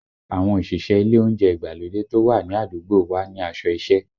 Àwọn òṣìṣẹ́ ilé oúnjẹ ìgbàlódé tó wà ní àdúgbò wa ní aṣọ isẹ